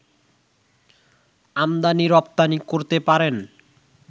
আমদানি-রপ্তানি করতে পারেন